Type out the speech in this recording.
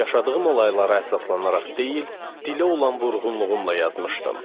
Yaşadığım olaylara əsaslanaraq deyil, dilə olan vurğunluğumla yazmışdım.